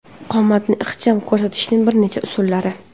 Qomatni ixcham ko‘rsatishning bir necha usullari.